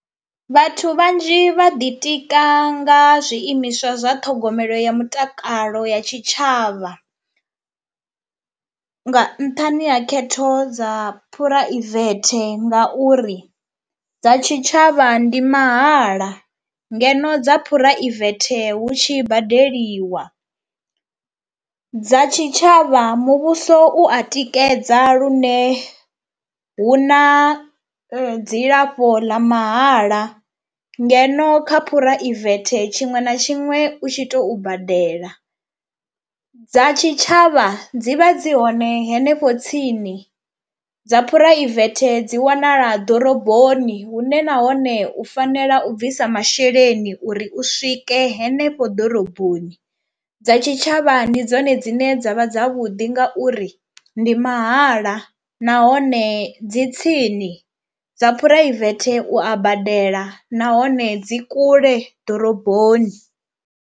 Vhathu vhanzhi vha ḓitika nga zwiimiswa zwa ṱhogomelo ya mutakalo ya tshitshavha nga nṱhani ha khetho dza phuraivethe ngauri dza tshitshavha ndi mahala ngeno dza phuraivethe hu tshi badeliwa. Dza tshitshavha muvhuso u a tikedza lune hu na dzilafho ḽa mahala ngeno kha phuraivethe tshiṅwe na tshiṅwe u tshi tou badela. Dza tshitshavha dzi vha dzi hone henefho tsini, dza phuraivethe dzi wanala ḓoroboni hune nahone u fanela u bvisa masheleni uri u swike henefho ḓoroboni. Dza tshitshavha ndi dzone dzine dza vha dzavhuḓi ngauri ndi mahala nahone dzi tsini, dza phuraivethe u a badela nahone dzi kule ḓoroboni.